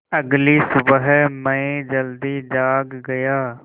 अगली सुबह मैं जल्दी जाग गया